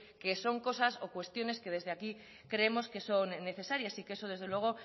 que son cosas o cuestiones que desde aquí creemos que son necesarias y que eso desde luego